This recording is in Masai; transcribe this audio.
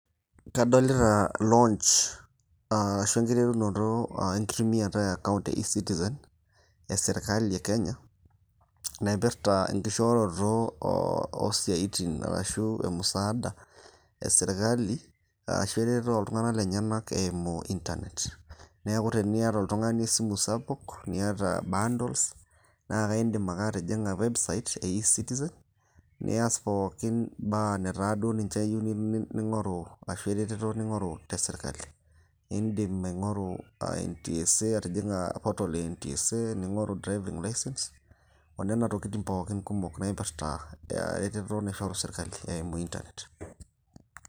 Kadolita launch arashu enkiterunoto enkitumiata e account e eCitizen e sirkali e Kenya, naipirta enkishooroto oo siaitin arashu musaada e sirkali arashu eretoto oltung'anak lenyenak eimu internet. Neeku teniata oltung'ani esimu sapuk, niata bundles naa akaindim ake atijing'a website e eCitizen, nias pooki baa netaa duo ninche iyieu ning'oru arashu eretoto ning'oru te sirkali. IIndim aing'oru NationalTransport and Safety Authority, aa portal e NTSA, ning'oru driving license onena tokitin pooki kumok naipirta eretoto naishoru sirkali eimu internet.